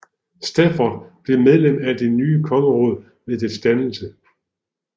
Stafford blev medlem af det nye kongeråd ved dets dannelse